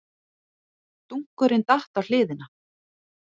Dunkurinn datt á hliðina.